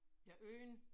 Ja unden